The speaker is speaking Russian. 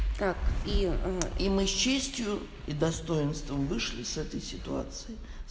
так и и мы с честью и достоинством вышли с этой ситуацией